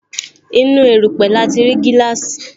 Inú erupe lati ri gíláàsì